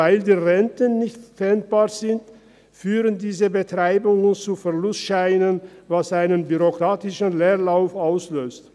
Weil die Renten nicht pfändbar sind, führen diese Betreibungen zu Verlustscheinen, was einen bürokratischen Leerlauf auslöst.